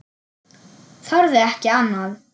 Þorði ekki annað.